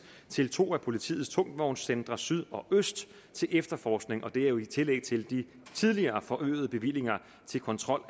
til to af politiets tungvognscentre syd og øst til efterforskning og det er jo i tillæg til de tidligere forøgede bevillinger til kontrol